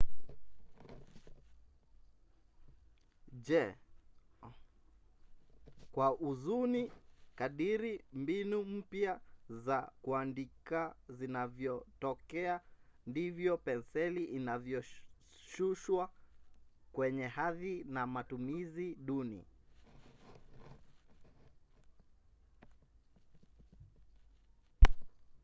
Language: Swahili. kwa huzuni kadiri mbinu mpya za kuandika zinavyotokea ndivyo penseli inavyoshushwa kwenye hadhi na matumizi duni